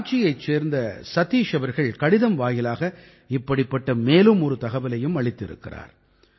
ராஞ்சியைச் சேர்ந்த சதீஷ் அவர்கள் கடிதம் வாயிலாக இப்படிப்பட்ட மேலும் ஒரு தகவலையும் அளித்திருக்கிறார்